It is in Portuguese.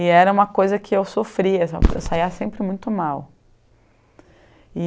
E era uma coisa que eu sofria, eu saía sempre muito mal.